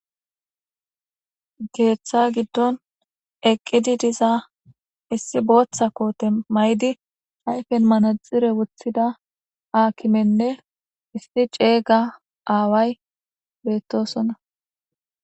Geeththa giddon eqqidi diza issi booththa koote may7di ayfen manaxire wothida aakimenne isti ceeyga aaway beettosonna